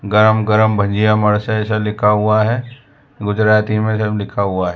गरम गरम भजिया मर्सेस ऐसा लिखा हुआ है गुजराती में सब लिखा हुआ है।